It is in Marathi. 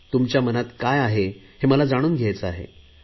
तुमच्या मनात काय आहे हे मला जाणून घ्यायचे आहे